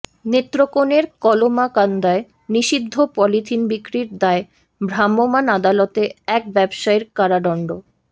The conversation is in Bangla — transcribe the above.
নেত্রকোনার কলমাকান্দায় নিষিদ্ধ পলিথিন বিক্রির দায়ে ভ্রাম্যমান আদালতে এক ব্যবসায়ীর কারাদন্ড